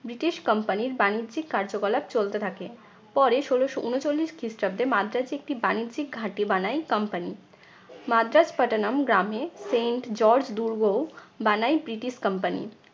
British company র বাণিজ্যিক কার্যকলাপ চলতে থাকে। পরে ষোলশ ঊনচল্লিশ খ্রিস্টাব্দে মাদ্রাজে একটি বাণিজ্যিক ঘাঁটি বানায় company মাদ্রাজ পাটানাম গ্রামে saint george দুর্গ বানায় ব্রিটিশ company